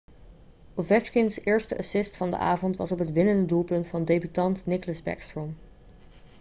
ovechkins eerste assist van de avond was op het winnende doelpunt van debutant nicklas backstrom